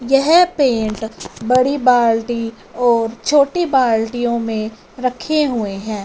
यह पेंट बड़ी बाल्टी और छोटी बाल्टीयों में रखे हुए हैं।